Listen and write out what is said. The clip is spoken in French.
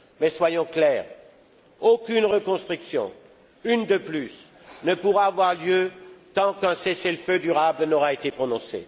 Mais soyons clairs aucune reconstruction une de plus ne pourra avoir lieu tant qu'un cessez le feu durable n'aura été prononcé.